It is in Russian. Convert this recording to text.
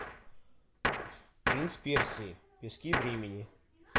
принц персии пески времени